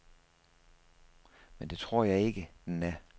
Men det tror jeg ikke, den er.